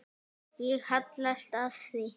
Ég hallast að því.